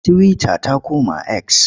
Tiwita ta koma eks.